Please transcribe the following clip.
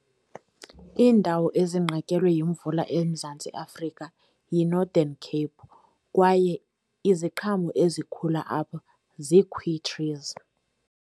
Iindawo ezinqatyelwe yimvula eMzantsi Afrika yiNorthern Cape, kwaye iziqhamo ezikhula apho trees.